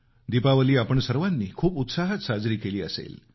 दीपावली आपण सर्वांनी खूप उत्साहात साजरी केली असेल